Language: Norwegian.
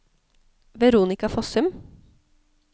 Veronica Fossum